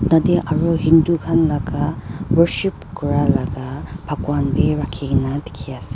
tatae aro hindu khan laka worship kurala bhagwan bi rakhikae na dikhiase.